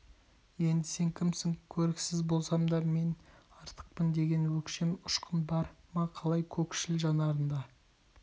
енді сен кімсің көріксіз болсам да мен артықпын деген өктем ұшқын бар ма қалай көкшл жанарында